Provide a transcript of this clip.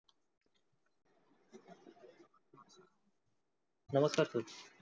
नमस्कार sir